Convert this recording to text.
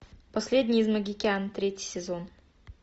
последний из магикян третий сезон